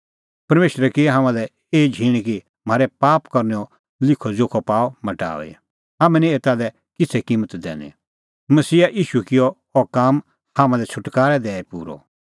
परमेशरै की हाम्हां लै एही झींण कि म्हारै पाप करनैओ लिखअजोखअ पाअ मटाऊई हाम्हैं निं एता लै किछ़ै किम्मत दैनी मसीहा ईशू किअ अह काम हाम्हां लै छ़ुटकारै दैई पूरअ